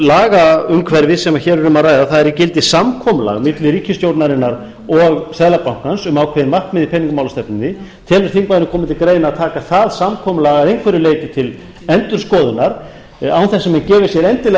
lagaumhverfi sem hér er um að ræða það er í gildi samkomulag milli ríkisstjórnarinnar og seðlabankans um ákveðin markmið í peningamálastefnunni telur þingmaðurinn koma til greina að taka það samkomulag að einhverju leyti til endurskoðunar án þess að menn gefi sér endilega